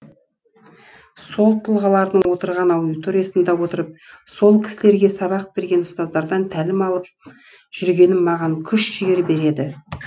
сол тұлғалардың отырған аудиториясында отырып сол кісілерге сабақ берген ұстаздардан тәлім алып жүргенім маған күш жігер береді